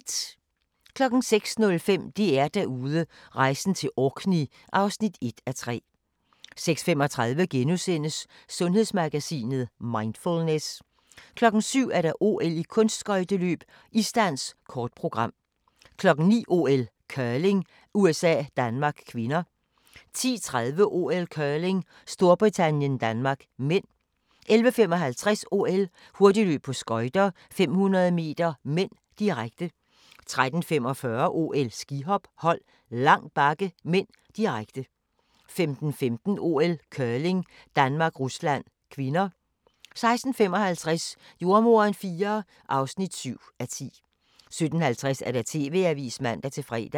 06:05: DR-Derude: Rejsen til Orkney (1:3) 06:35: Sundhedsmagasinet: Mindfulness * 07:00: OL: Kunstskøjteløb - isdans, kort program 09:00: OL: Curling - USA-Danmark (k) 10:30: OL: Curling - Storbritannien-Danmark (m) 11:55: OL: Hurtigløb på skøjter - 500 m (m), direkte 13:45: OL: Skihop - hold, lang bakke (m), direkte 15:15: OL: Curling - Danmark-Rusland (k) 16:55: Jordemoderen IV (7:10) 17:50: TV-avisen (man-fre)